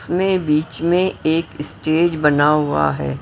उसमें बीच में एक स्टेज बना हुआ है।